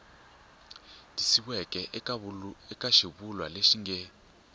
tikisiweke eka xivulwa lexi nge